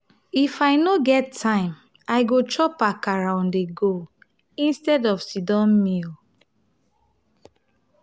if i no get time i go chop akara on-the-go instead of sit-down meal.